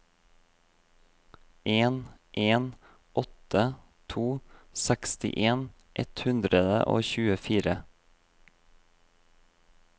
en en åtte to sekstien ett hundre og tjuefire